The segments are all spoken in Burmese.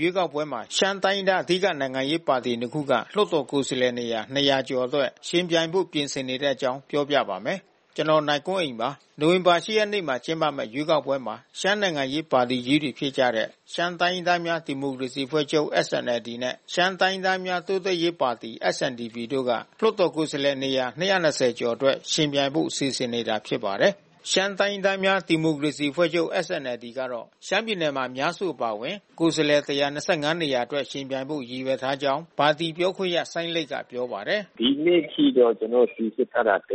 ရွေးကောက်ပွဲမှာ ရှမ်းတိုင်းရင်းသား အဓိကနိုင်ငံရေးပါတီ နှစ် ခုက လွှတ်တော်ကိုယ်စားလှယ်နေရာ ၂၀၀ ကျော်အတွက် ယှဉ်ပြိုင်ဖို့ ပြင်ဆင်နေတဲ့အကြောင်း ပြောပြပါမယ်။ ဗွီအိုအေမြန်မာပိုင်းသတင်းထောက် ကိုနိုင်ကွန်းအိန်က သတင်းပေးပို့ထားပါတယ်။ နိုဝင်ဘာ ၈ ရက်နေ့မှာ ကျင်းပမယ့် ရွေးကောက်ပွဲမှာ ရှမ်းနိုင်ငံရေးပါတီကြီးတွေ ဖြစ်ကြတဲ့ ရှမ်းတိုင်းရင်းသားများ ဒီမိုကရေစီအဖွဲ့ချုပ် SNLD နဲ့ ရှမ်းတိုင်းရင်းသားများ တိုးတက်ရေးပါတီ SNDP တို့က လွှတ်တော်ကိုယ်စားလှယ်နေရာ ၂၂၀ ကျော်အတွက် ယှဉ်ပြိုင်ဖို့ စီစဉ်နေတာ ဖြစ်ပါတယ်။ ရှမ်းတိုင်းရင်းသားများ ဒီမိုကရေစီအဖွဲ့ချုပ် SNLD ကတော့ ရှမ်းပြည်နယ်မှာ အများစု အပါအဝင် ကိုယ်စားလှယ် ၁၂၅ နေရာအတွက် ယှဉ်ပြိုင်ဖို့ ရည်ရွယ်ထားကြောင်း ပါတီပြောခွင့်ရ စိုင်းလိတ်ကပြောပါတယ်။ “ဒီနေ့အထိတော့ ကျနော်တို့ စီစစ်ထားတာ ၁၂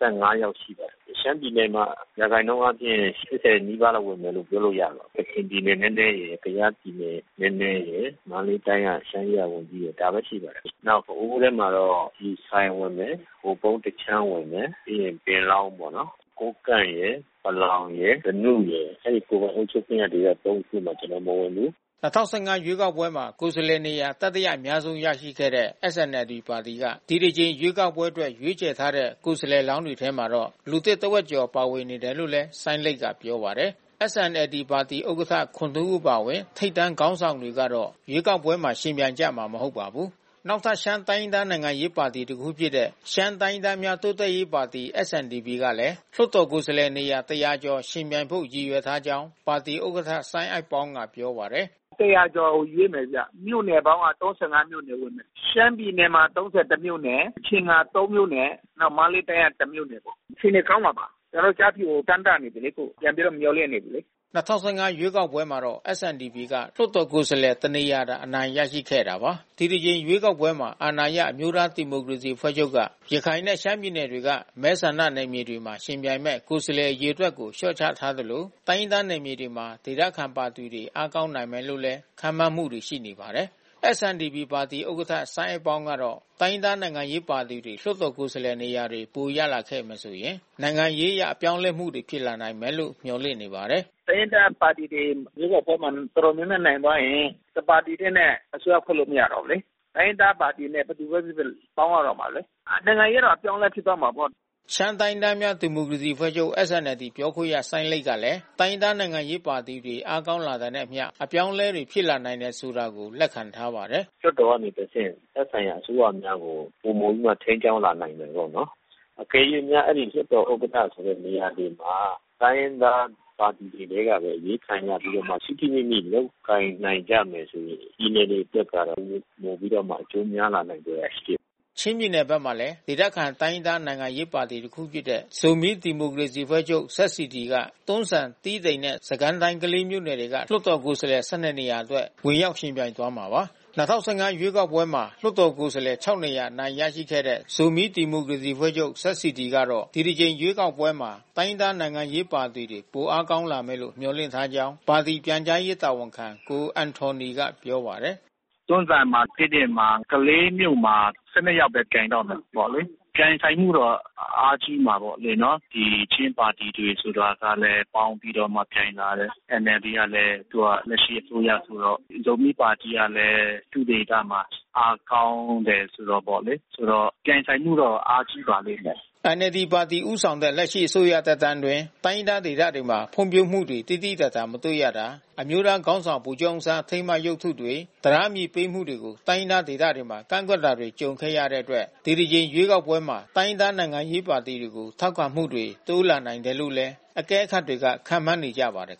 ၅ ယောက်ရှိတယ်လေ။ ရှမ်းပြည်နယ်ထဲမှာ ရာခိုင်နှုန်းအားဖြင့် ၈၀ နီးပါးဝင်မယ်လို့ ပြောလို့ရတယ်။ ကချင်ပြည်နယ်နည်းနည်းရယ်၊ ကယားပြည်နယ်နည်းနည်းရယ်၊ မန္တလေးတိုင်းက ရှမ်းရေးရာ ဝန်ကြီးရယ် ဒါပဲရှိတယ်။ နောက်ပအိုဝ်ထဲမှာတော့ ဆီဆိုင်ဝင်မယ် ဟိုပုံးတခြမ်း ဝင်မယ်၊ ပြီးရင်ပင်လောင်းပေါ့နော်။ ကိုးကန့်ရယ်၊ ပလောင်ရယ်၊ ဓနုရယ်၊ အဲဒီကိုယ်ပိုင်အုပ်ချုပ်ခွင့်ရဒေသ သုံး ခု ကျနော်တို့ မဝင်ဘုူး။” ၂၀၁၅ ရွေးကောက်ပွဲမှာ ကိုယ်စားလှယ်နေရာ တတိယအများဆုံးရခဲ့တဲ့ SNLD ပါတီက ဒီတကြိမ်ရွေးကောက်ပွဲအတွက် ရွေးချယ်ထားတဲ့ ကိုယ်စားလှယ်လောင်းတွေထဲမှာတော့ လူသစ်တဝက်ကျော် ပါဝင်တယ်လို့လည်း စိုင်းလိတ်က ပြောပါတယ်။ SNLD ပါတီဥက္ကဋ္ဌ ခွန်ထွန်းဦး အပါအဝင် ထိပ်တန်းခေါင်းဆောင်တွေကတော့ ရွေးကောက်ပွဲမှာ ယှဉ်ပြိုင်ကြမှာ မဟုတ်ပါဘူး။ နောက်ထပ် ရှမ်းတိုင်းရင်းသား နိုင်ငံရေးပါတီတခုဖြစ်တဲ့ ရှမ်းတိုင်းရင်းသားများတိုးတက်ရေးပါတီ SNDP ကလည်း လွှတ်တော်ကိုယ်စားလှယ် နေရာ ၁၀၀ ကျော် ယှဉ်ပြိုင်ဖို့ ရည်ရွယ်ထားကြောင်း ပါတီဥက္ကဋ္ဌ စိုင်းအိုက်ပေါင်းကပြောပါတယ်။ “၁၀၀ ကျော်ရွေးမယ်ဗျ။ မြို့နယ်ပေါင်းက ၃၅ မြို့နယ်။ ရှမ်းပြည်နယ်မှာ ၃၁ မြို့နယ်၊ ကချင်မှာ ၃ မြို့နယ်၊ နောက် မန္တလေးတိုင်းက တမြို့နယ်ပေါ့။ အခြေအနေကောင်းမှာပါ။ ကျနော်တို့ ကျားဖြူကိုတမ်းတနေပြီလေ။ ပြန်ပြီးတော့ မျှော်လင့်နေပြီးလေ။” ၂၀၁၅ ရွေးကောက်ပွဲမှာတော့ SNDP ပါတီက လွှတ်တော်ကိုယ်စားလှယ် တစ် နေရာသာ အနိုင်ရရှိခဲ့တာပါ။ ဒီတကြိမ်ရွေးကောက်ပွဲမှာ အာဏာရအမျိုးသားဒီမိုကရေစီ အဖွဲ့ချုပ်က ရခိုင်နဲ့ရှမ်းပြည်နယ်တွေက မဲဆန္ဒနယ်မြေတွေမှာ ယှဉ်ပြိုင်မယ့် ကိုယ်စားလှယ် အရေအတွက်ကို လျှော့ချထားသလို၊ တိုင်းရင်းသားနယ်မြေတွေမှာ ဒေသခံပါတီတွေ အားကောင်းနိုင်တယ်လို့ ခန့်မှန်းမှုတွေလည်း ရှိနေပါတယ်။ SNDP ပါတီ ဥက္ကဋ္ဌ စိုင်းအိုက်ပေါင်းကတော့ တိုင်းရင်းသားနိုင်ငံရေးပါတီတွေ လွှတ်တော်ကိုယ်စားလှယ်နေရာတွေ ပိုရလာခဲ့မယ်ဆိုရင် နိုင်ငံရေးအရအပြောင်းအလဲတွေ ဖြစ်လာမယ်လို့ မျှော်လင့်နေပါတယ်။ “တိုင်းရင်းသားပါတီတွေ လွှတ်တော်ထဲမှာ တော်တော်များများ နိုင်သွားရင် တပါတီတည်း နဲ့ အစိုးရဖွဲ့လို့ မရတော့ဘူးလေ။ တိုင်းရင်းသားပါတီနဲ့ ဘယ်သူပဲ ဖြစ်ဖြစ်ပေါင်းရတော့မယ်လေ။ နိုင်ငံရေးတော့ အပြောင်းလဲဖြစ်သွားမှာပေါ့။” ရှမ်းတိုင်းရင်းသားများ ဒီမိုကရေစီအဖွဲ့ချုပ် SNLD ပြောခွင့်ရစိုင်းလိတ်ကလည်း တိုင်းရင်းသားနိုင်ငံရေးပါတီတွေ အားကောင်းလာတာနဲ့အမျှ အပြောင်းအလဲတွေ ဖြစ်လာနိုင်တယ်ဆိုတာကို လက်ခံထားပါတယ်။ “လွှတ်တော်ကနေတဆင့် သက်ဆိုင်ရာအစိုးရများကို ပိုမိုပြီးတော့ထိန်းကြောင်းလာနိုင်မယ်ပေါ့နော်။ အကယ်လို့များ လွှတ်တော် ဥက္ကဋ္ဌ နေရာတွေမှာ တိုင်းရင်းသားပါတီထဲကပဲ အရွေးခံရပြီးမှ ထိထိမိမိလုပ်ကိုင်နိုင်ကြမယ်ဆိုရင် ပြည်နယ် တွေအတွက်ကတော့ ပိုပြီးတော့အကျိုးများလာနိုင်စရာရှိတယ်။” ချင်းပြည်နယ်မှာလည်း ဒေသခံတိုင်းရင်းသား နိုင်ငံရေးပါတီတခုဖြစ်တဲ့ ဇိုမီးဒီမိုကရေစီအဖွဲ့ချုပ် က တွန်းဇံ တီးတိန်နဲ့ စစ်ကိုင်းတိုင်း ကလေးမြို့နယ်တွေက လွှတ်တော်ကိုယ်စားလှယ် ၁၂ နေရာအတွက် ဝင်ရောက်ယှဉ်ပြိုင်သွားမှာပါ။ ၂၀၁၅ ရွေးကောက်ပွဲမှာ လွှတ်တော်ကိုယ်စားလှယ် ခြောက် နေရာ အနိုင်ရရှိခဲ့တဲ့ ဇိုမီးဒီမိုကရေစီအဖွဲ့ချုပ် ကတော့ ဒီတကြိမ် ရွေးကောက်ပွဲမှာ တိုင်းရင်းသားနိုင်ငံရေး ပါတီတွေ ပိုအားကောင်းလာမယ်လို့ မျှော်လင့်ထားကြောင်း ပါတီပြန်ကြားရေးတာဝန်ခံ ကိုပန်ထော်နီကပြောပါတယ်။ “တွန်းဇံမှာ တီးတိန်မှာ ကလေးမြို့မှာ ၁၂ ယောက်ပဲ ပြိုင်တော့မယ်ပေါ့လေ။ မြိုင်ဆိုင်မှုတော့အားကြီးမှာပေါ့လေနော်။ ဒီချင်းပါတီတွေဆိုတာကလဲ ပေါင်းပြီးတော့မှ ပြိုင်လာတယ်။ NLD ကလည်း သူကလက်ရှိအစိုးရဆိုတော့ ဇိုမီးပါတီကလည်း သူ့ဒေသမှာအားကောင်းတယ်ဆိုတာပေါ့လေ။ ဆိုတော့ပြိုင်ဆိုင်မှုက အားရှိပါလိမ့်မယ်။” NLD ပါတီဦးဆောင်တဲ့ လက်ရှိအစိုးရ သက်တမ်းအတွင်း တိုင်းရင်းသားဒေသတွေမှာ ဖွံ့ဖြိုးမှုတွေ သိသိသာသာ မတွေ့ရတာ၊ အမျိုးသားခေါင်းဆောင် ဗိုလ်ချုပ်အောင်ဆန်း အထိမ်းအမှတ် ရုပ်တုတွေ၊ တံတားတွေ တည်ဆောက်မှုတွေကို တိုင်းရင်းသား ဒေသတွေမှာ ကန့်ကွက်တာတွေ ကြုံခဲ့ရတဲ့အတွက် ဒီတကြိမ်ရွေးကောက်ပွဲမှာ တိုင်းရင်းသား နိုင်ငံရေးပါတီတွေကို ထောက်ခံမှုတွေ တိုးလာနိုင်တယ်လို့လည်း အကဲခတ်တွေက ခန့်မှန်းနေကြပါတယ်